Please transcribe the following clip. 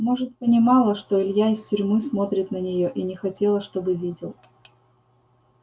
может понимала что илья из тюрьмы смотрит на неё и не хотела чтобы видел